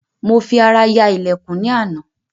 Mo fi ará ya ìlẹ̀kùn ní àná